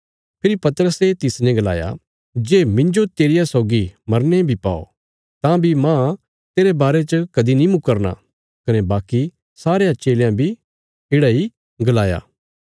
फेरी पतरसे तिसने गलाया जे मिन्जो तेरिया सौगी मरने बी पौ तां बी मांह तेरे बारे च कदीं नीं मुकरना कने बाकी सारयां चेलयां बी येढ़ा इ गलाया